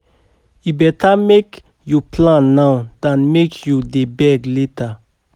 E better make you plan now than make you dey beg later.